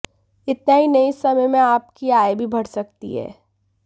इतना ही नहीं इस समय में आपकी आय भी बढ़ सकती है